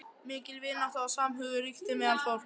Mikil vinátta og samhugur ríkti meðal fólks.